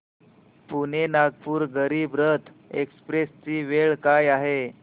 Pune Nagpur Garib Rath express ची वेळ काय आहे